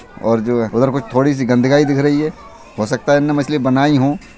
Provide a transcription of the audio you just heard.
और जो हे उधर कुछ थोड़ी सी गंद्काय दिख रही है हो सकता इने मछली बनाई हो।